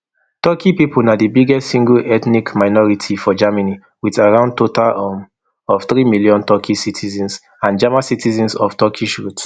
turkey pipo na di biggest single ethnic minority for germany wit around total um of three million turkey citizens and german citizens of turkish root